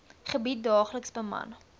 gebied daagliks beman